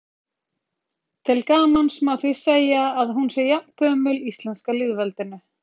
til gamans má því segja að hún sé jafngömul íslenska lýðveldinu